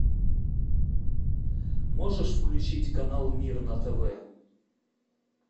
можешь включить канал мир на тв